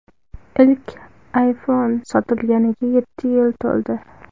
Ilk iPhone sotilganiga yetti yil to‘ldi.